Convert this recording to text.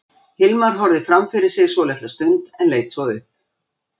Hilmar horfði fram fyrir sig svolitla stund en leit svo upp.